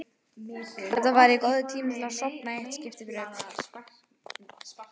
Þetta væri góður tími til að sofna í eitt skipti fyrir öll.